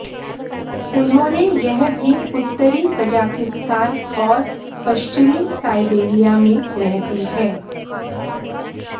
उन्होंने यह भी उत्तरी कजाकिस्तान और पश्चिमी साइबेरिया में रहती है